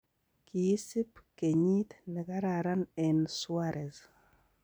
Kiisib kenyiit nekararan en Suarez.